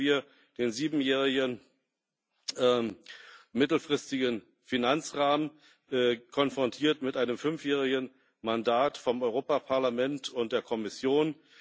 So haben wir den siebenjährigen mittelfristigen Finanzrahmen konfrontiert mit einem fünfjährigen Mandat vom Europäischen Parlament und der Kommission.